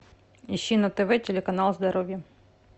ищи на тв телеканал здоровье